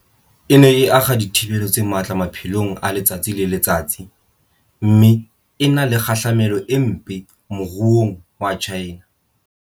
E ne e akga dithibelo tse matla maphelong a letsatsi le letsatsi mme e na le kgahlamelo e mpe moruong wa China.